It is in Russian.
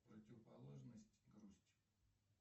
противоположность грусть